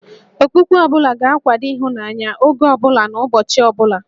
Okpukpe ọ bụla ga-akwado ịhụnanya, oge ọ bụla na ụbọchị ọ bụla